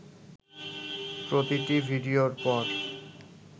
প্রতিটি ভিডিওর পর